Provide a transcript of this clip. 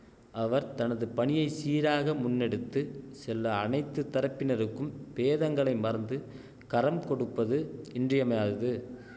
அவர் தனது பணியை சீராக முன்னெடுத்து செல்ல அனைத்து தரப்பினருக்கும் பேதங்களை மறந்து கரம் கொடுப்பது இன்றியமையாதது